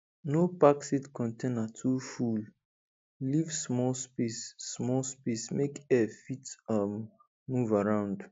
no pack seed container too full leave small space small space make air fit um move around